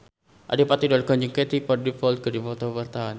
Adipati Dolken jeung Katie Dippold keur dipoto ku wartawan